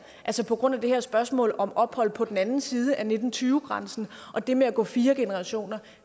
altså på grund af det her spørgsmål om ophold på den anden side af nitten tyve grænsen og det med at gå fire generationer